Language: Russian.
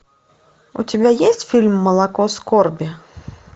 у тебя есть фильм молоко скорби